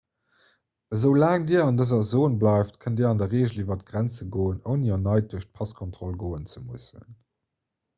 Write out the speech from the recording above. esoulaang dir an dëser zon bleift kënnt dir an der reegel iwwer d'grenze goen ouni erneit duerch d'passkontroll goen ze mussen